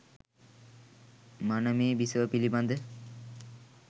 මනමේ බිසව පිළිබඳ